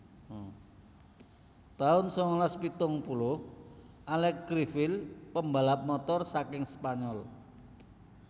taun sangalas pitung puluh Alex Criville pembalap Motor saking Spanyol